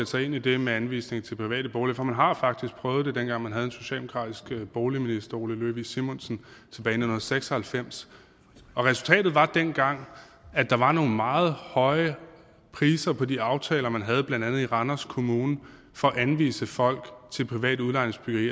sig ind i det med anvisning til private boliger for man har faktisk prøvet det dengang man havde en socialdemokratisk boligminister ole løvig simonsen tilbage i nitten seks og halvfems og resultatet var dengang at der var nogle meget høje priser på de aftaler man havde blandt andet i randers kommune for at anvise folk til privat udlejningsbyggeri